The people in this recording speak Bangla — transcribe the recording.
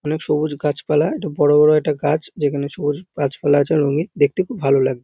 আনেক সবুজ গাছপালা একটু বড় বড় একটা গাছ যেখানে সবুজ গাছপালা আছে রঙিন দেখতে খুব ভালো লাগ--